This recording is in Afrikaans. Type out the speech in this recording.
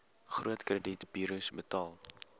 groot kredietburos betaal